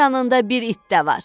Yanında bir it də var.